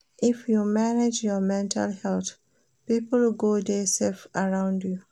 If you manage your mental health, pipo go dey safe around you.